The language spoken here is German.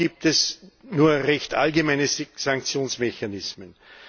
Auch gibt es nur recht allgemeine Sanktionsmechanismen.